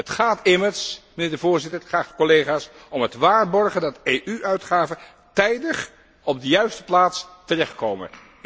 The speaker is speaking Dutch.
Het gaat immers, mijnheer de Voorzitter, geachte collega's, om het waarborgen dat EU uitgaven tijdig op de juiste plaats terechtkomen.